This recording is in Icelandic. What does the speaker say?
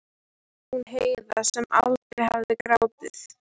Hún Heiða sem aldrei hafði grátið.